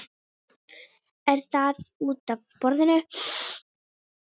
Er það útaf borðinu?